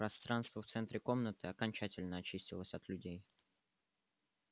пространство в центре комнаты окончательно очистилось от людей